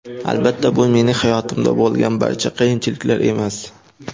Albatta, bu mening hayotimda bo‘lgan barcha qiyinchiliklar emas.